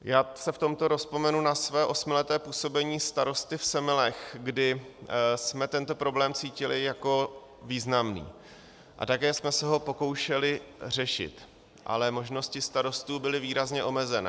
Já se v tomto rozvzpomenu na své osmileté působení starosty v Semilech, kdy jsme tento problém cítili jako významný a také jsme se ho pokoušeli řešit, ale možnosti starostů byly výrazně omezené.